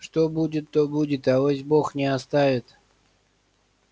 что будет то будет авось бог не оставит